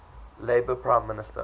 labour prime minister